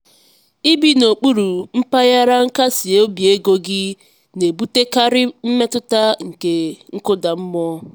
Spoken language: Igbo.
ibi n'okpuru mpaghara nkasi obi ego gị na-ebutekarị mmetụta nke nkụda mmụọ.